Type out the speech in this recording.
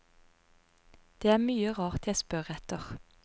Det er mye rart jeg spør etter.